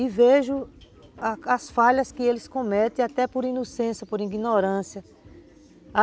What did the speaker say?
E vejo as falhas que eles cometem, até por inocência, por ignorância.